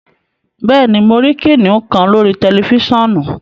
Bẹẹni, mo rí kìnnìún kan lórí tẹlifisiọ̀nù